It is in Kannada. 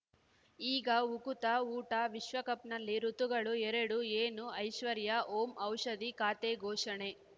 ಈಗ ಉಕುತ ಊಟ ವಿಶ್ವಕಪ್‌ನಲ್ಲಿ ಋತುಗಳು ಎರಡು ಏನು ಐಶ್ವರ್ಯಾ ಓಂ ಔಷಧಿ ಖಾತೆ ಘೋಷಣೆ